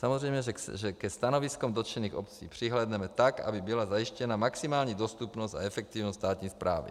Samozřejmě, že ke stanoviskům dotčených obcí přihlédneme tak, aby byla zajištěna maximální dostupnost a efektivnost státní správy.